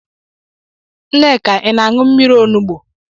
Nneka, ịna-añụ mmiri onugbo?